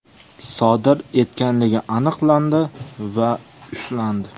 sodir etganligi aniqlandi va ushlandi.